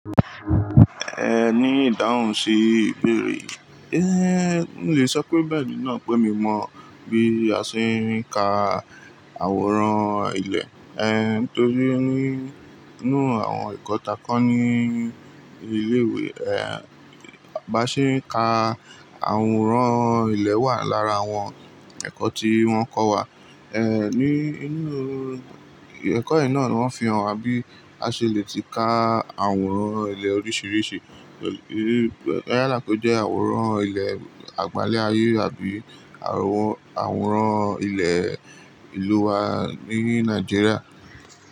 Ehn, ní ìdáhùn sí ìbéèrè yi, eh, mo le sọ pé bẹ́ẹ̀ni náà pé mi mọ bí a ṣe ń ka àwòrán ilẹ̀, eh, nítorí pé nínú àwọn ẹ̀kọ́ ta kọ́ ní ilé ìwé, eh, bí a ṣe ń ka àwòrán ilẹ̀ wà lára àwọn ẹ̀kọ́ tí wọ́n kọ́ wa, eh, ní inú ẹ̀kọ́ yìí náà ni wọ́n fi hàn wa bí a ṣe le ti ka àwòrán ilẹ̀ oríṣiríṣi, boya lapejuwe àwòrán ilẹ̀ àgbálẹ̀ ayé àbí àwòrán, àwòrán ilẹ̀ ìlú wa ní Nàìjíríà.